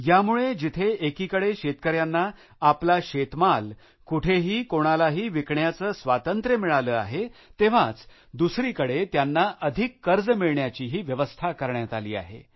यामुळे जिथे एकीकडे शेतकऱ्यांना आपला शेतमाल कुठेही कोणालाही विकण्याचे स्वातंत्र्य मिळाले आहेतेव्हाच दुसरीकडे त्यांना अधिक कर्ज मिळण्याचीही व्यवस्था करण्यात आली आहे